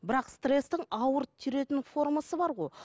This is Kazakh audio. бірақ стресстің ауыр жүретін формасы бар ғой